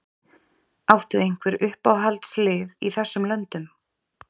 Áttu einhver uppáhaldslið í þessum löndum?